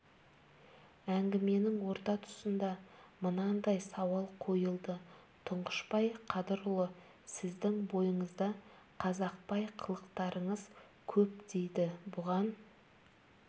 әңгіменің орта тұсында мынандай сауал қойылды тұңғышбай қадырұлы сіздің бойыңызда қазақбай қылықтарыңыз көп дейді бұған